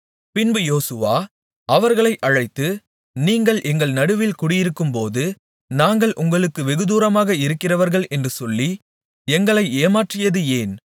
பின்பு யோசுவா அவர்களை அழைத்து நீங்கள் எங்கள் நடுவில் குடியிருக்கும்போது நாங்கள் உங்களுக்கு வெகுதூரமாக இருக்கிறவர்கள் என்று சொல்லி எங்களை ஏமாற்றியது ஏன்